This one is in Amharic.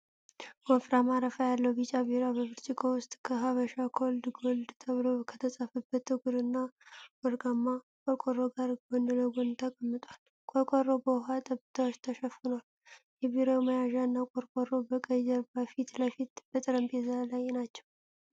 ወፍራም አረፋ ያለው ቢጫ ቢራ በብርጭቆ ውስጥ ከ "ሐበሻ ኮልድ ጎልድ" ተብሎ ከተጻፈበት ጥቁር እና ወርቃማ ቆርቆሮ ጋር ጎን ለጎን ተቀምጧል፡፡ ቆርቆሮው በውሃ ጠብታዎች ተሸፍኗል፤ የቢራው መያዣና ቆርቆሮው በቀይ ጀርባ ፊት ለፊት በጠረጴዛ ላይ ናቸው።